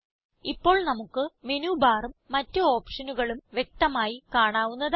ഇപ്പോൾ നമുക്ക് മേനു ബാറും മറ്റ് ഓപ്ഷനുകളും വ്യക്തമായി കാണാവുന്നതാണ്